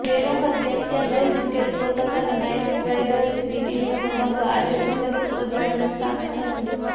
બે વખત ચેમ્પિયન રહી ચુકેલી કોલકાતા નાઈટ રાઈડર્સની ટીમનો મુકાબલો આજે પૂણે સુપરજાયન્ટ્સ સામે થશે